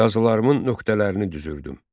Yazılarımın nöqtələrini düzürdüm.